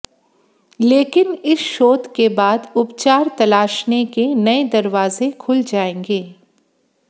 लेकिन इस शोध के बाद उपचार तलाशने के नए दरवाजे खुल जाएंगे